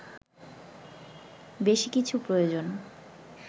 বেশি কিছু প্রয়োজন